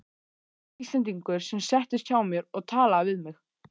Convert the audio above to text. Íslendingur sem settist hjá mér og talaði við mig.